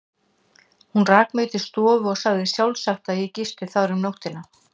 Hún rak mig til stofu og sagði sjálfsagt, að ég gisti þar um nóttina.